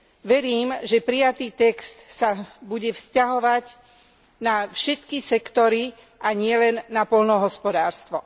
Verím, že prijatý text sa bude vzťahovať na všetky sektory a nielen na poľnohospodárstvo.